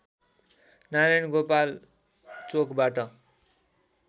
नारायणगोपाल चोकबाट